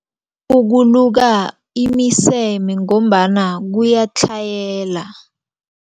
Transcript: Ukuluka imiseme ngombana kuyatlhayela.